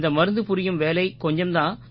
இந்த மருந்து புரியும் வேலை கொஞ்சம் தான்